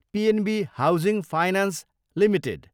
PNB Housing Finance Ltd